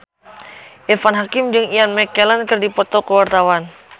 Irfan Hakim jeung Ian McKellen keur dipoto ku wartawan